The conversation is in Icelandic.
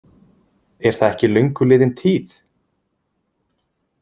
Er það ekki löngu liðin tíð?